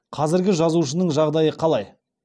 қазіргі жазушының жағдайы қалай